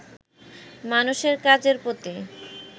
মানুষের কাজের প্রতি